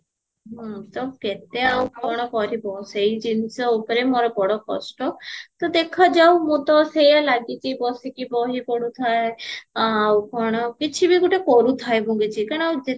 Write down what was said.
ହମ୍ମ ତ କେତେ ଆଉ କଣ କରିବା ସେଇ ଜିନିଷ ଉପରେ ମୋର ବଡ କଷ୍ଟ ତ ଦେଖା ଯାଉ ମୁଁ ତ ସେଇଆ ଲାଗିଚି ବସିକି ବହି ପଢୁଥାଏ ଆଉ କଣ କିଛି ବି ଗୋଟେ କରୁଥାଏ କାରଣ